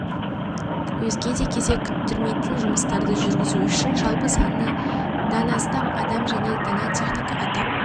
де кезек күттірмейтін жұмыстарды жүргізу үшін жалпы саны дан астам адам және дана техника атап